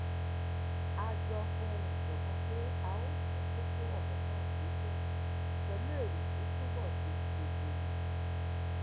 a jọ fohùn ṣòkan pé a óò tún kókó òrò náà gbé yèwò pèlú èrò tó túbò ṣe kedere